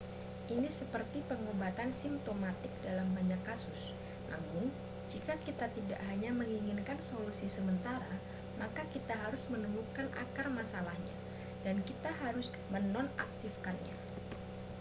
ini seperti pengobatan simtomatik dalam banyak kasus namun jika kita tidak hanya menginginkan solusi sementara maka kita harus menemukan akar masalahnya dan kita harus menonaktifkannya